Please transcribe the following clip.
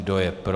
Kdo je pro?